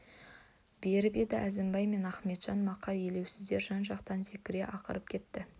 беріп еді әзімбай мен ақметжан мақа елеусіздер жан-жақтан зекіре ақырып кетті